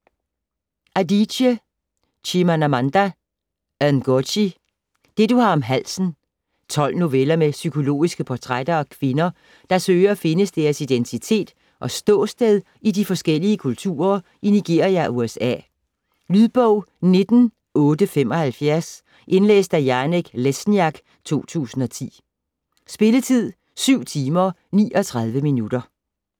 Adichie, Chimamanda Ngozi: Det du har om halsen 12 noveller med psykologiske portrætter af kvinder, der søger at finde deres identitet og ståsted i de forskellige kulturer i Nigeria og USA. Lydbog 19875 Indlæst af Janek Lesniak, 2010. Spilletid: 7 timer, 39 minutter.